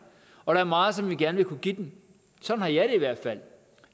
og der er meget som vi gerne vil kunne give dem sådan har jeg det i hvert fald